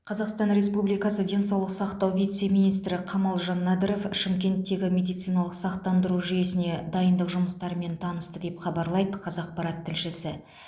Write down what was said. қазақстан республикасы денсаулық сақтау вице министрі камалжан надыров шымкенттегі медициналық сақтандыру жүйесіне дайындық жұмыстарымен танысты деп хабарлайды қазақпарат тілшісі